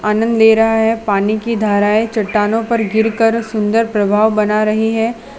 आनंद ले रहा है पानी की धाराएं चट्टानों पर गिरकर सुंदर प्रभाव बना रही हैं।